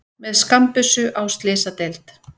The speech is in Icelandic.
Með skammbyssu á slysadeild